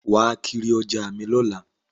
Wàá kiri ọjà mi lọ́la